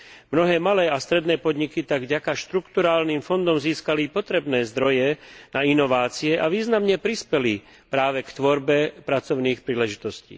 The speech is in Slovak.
Mnohé malé a stredné podniky tak vďaka štrukturálnym fondom získali potrebné zdroje na inovácie a významne prispeli práve k tvorbe pracovných príležitostí.